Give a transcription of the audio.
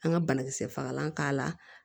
An ka banakisɛ fagalan k'a la